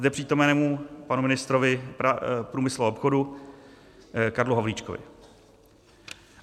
Zde přítomnému panu ministrovi průmyslu a obchodu Karlu Havlíčkovi.